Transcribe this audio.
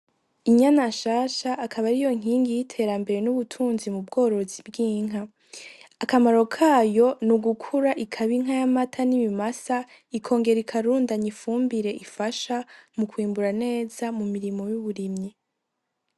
Inyana nshasha akaba ariyo nkingi y'iterambere n'ubutunzi mu bworozi bw'inka, akamaro kayo n'ugukura ikaba inka y'amata n'ibimasa, ikongera ikarundanya ifumbire ifasha mu kwimbura neza mu mirimo y'uburimyi.